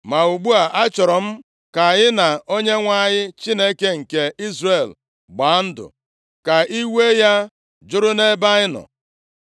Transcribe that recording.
Ma ugbu a, achọrọ m ka anyị na Onyenwe anyị Chineke nke Izrel gbaa ndụ, ka iwe ya jụrụ nʼebe anyị nọ.